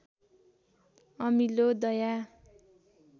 अमिलो दया